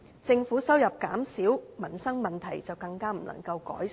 政府收入減少，民生問題便更不能改善。